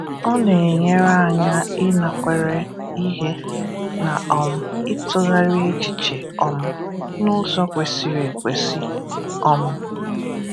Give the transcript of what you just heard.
Ọ na-enyèrè anyị inàkwèrà ihe, na um ịtụ̀gharị echiche um n’ụ̀zọ kwesì̀rị̀ ekwèsì. um